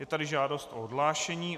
Je tady žádost o odhlášení.